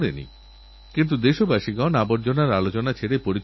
যাঁদের মধ্যে থেকেছেন তাঁদের জন্য জীবন উৎসর্গকরতে প্রস্তুত হয়েছেন